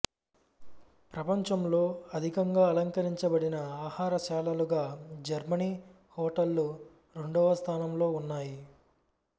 ప్రపంచంలో అధికంగా అలంకరించబడిన ఆహారశాలలుగా జర్మనీ హోటళ్ళు రెండవ స్థానంలో ఉన్నాయి